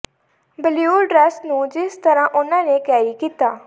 blue dress ਨੂੰ ਜਿਸ ਤਰ੍ਹਾਂ ਉਨ੍ਹਾਂ ਨੇ ਕੈਰੀ ਕੀਤਾ